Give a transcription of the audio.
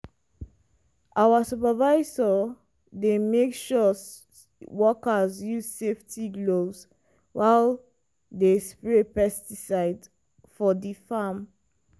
our supervisor dey make sure workers use safety gloves while dey spray pesticides for di farm.